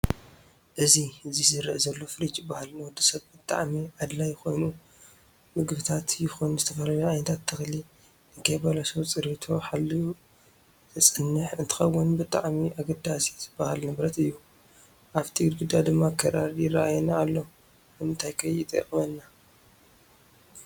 እዚ ዚ ዘርእ ዘሎ ፍርጅ ይብሃል ንወድሰብ ብጣዓሚ ኣድላይ ኮይኑ ምግብታት የኩን ዝተፈላላዩ ዓይነታት ተክሊ ንከይበለሸው ፅሬቱ ሓልዩ ዘፅን እንትከውን ብጠኣሚ ኣገዳሲ ዝበሃል ንብረት እዩ። ኣፍቲ ግድግዳ ድማ ክራር ይራኣየና ኣሎ ንምንታይ ከይጠቅመና?